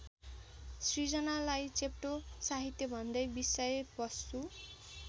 सिर्जनालाई चेप्टो साहित्यभन्दै विषयवस्तु